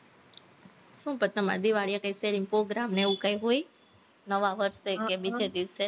શું પછી તમારે દિવાળીએ કઈ શેરીમાં program કે એવું કાઈ હોય? નવા વર્ષે કે બીજે દિવસે